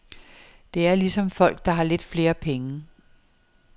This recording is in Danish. Det er ligesom folk, der har lidt flere penge.